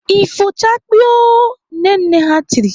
"Ifochakpiiiio" Nne nne ha tiri!